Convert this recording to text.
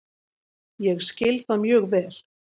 Ég skil það mjög vel